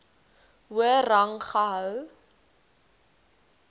hoër rang gehou